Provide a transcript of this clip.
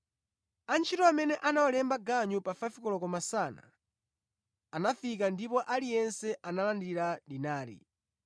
“Antchito amene anawalemba ganyu pa 5 koloko masana anafika ndipo aliyense analandira dinari.